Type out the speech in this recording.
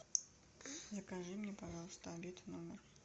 закажи мне пожалуйста обед в номер